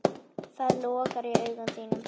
Það logar í augum þínum.